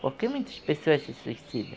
Por que muitas pessoas se suicidam?